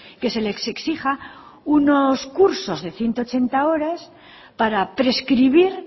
que se les exija unos cursos de ciento ochenta horas para prescribir